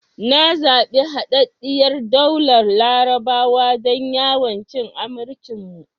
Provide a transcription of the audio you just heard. Na zabi Haɗaɗɗiyar Daular Larabawa don yawon cin amarcin mu.